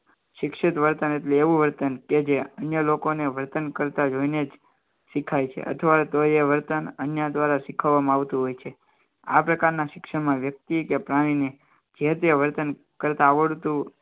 શિક્ષિત વર્તન એટલે એવું વર્તન કે જે અન્ય લોકોને વર્તન કરતાં જોઈને જ શીખાય છે અથવા તો એ વર્તન અન્ય દ્વારા શીખવવામાં આવતું હોય છે આ પ્રકારના શિક્ષણમાં વ્યક્તિ કે પ્રાણીને જે તે વર્તન કરતાં આવડતું